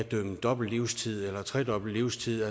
dømme dobbelt livstid eller tredobbelt livstid